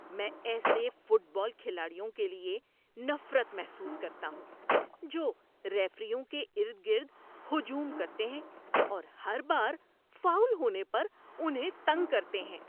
میں ایسے football کھلاڑیوں کے لیے نفرت محسوس کرتا ہوں جو ریفریوں کے ارد گرد ہجوم کرتے ہیں اور ہر بار فاؤل ہونے پر انہیں تنگ کرتے ہیں۔